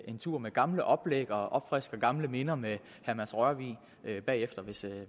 en tur med gamle oplæg og opfrisker gamle minder med herre mads rørvig bagefter hvis